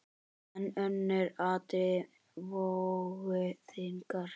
En önnur atriði vógu þyngra.